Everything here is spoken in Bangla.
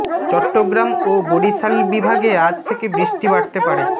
চট্টগ্রাম ও বরিশাল বিভাগে আজ থেকে বৃষ্টি বাড়তে পারে